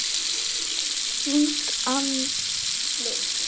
Fínt andlit?